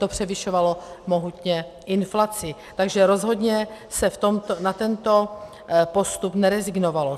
To převyšovalo mohutně inflaci, takže rozhodně se na tento postup nerezignovalo.